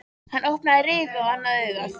Hann opnaði rifu á annað augað.